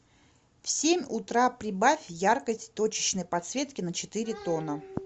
в семь утра прибавь яркость точечной подсветки на четыре тона